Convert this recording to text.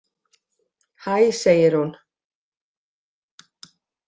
Hæ, segir hún.